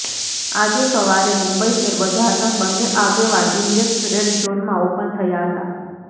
આજે સવારે મુંબઈ શેરબજારના બંને આગેવાન ઈન્ડેક્ષ રેડ ઝોનમાં ઓપન થયા હતા